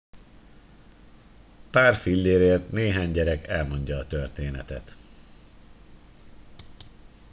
pár fillérért néhány gyerek elmondja a történetet